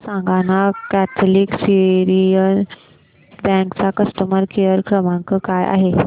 मला सांगाना Catholic Syrian Bank चा कस्टमर केअर क्रमांक काय आहे